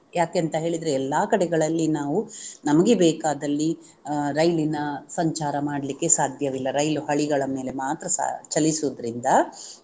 ಯಾಕೆಂತ ಹೇಳಿದ್ರೆ ಎಲ್ಲಾ ಕಡೆಗಳಲ್ಲಿ ನಾವು ನಮಗೆ ಬೇಕಾದಲ್ಲಿ ಅಹ್ ರೈಲಿನ ಸಂಚಾರ ಮಾಡ್ಲಿಕ್ಕೆ ಸಾಧ್ಯವಿಲ್ಲ ರೈಲು ಹಳಿಗಳ ಮೇಲೆ ಮಾತ್ರ ಸಾ~ ಚಲಿಸುವುದರಿಂದ